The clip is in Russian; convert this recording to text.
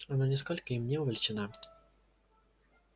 она нисколько им не увлечена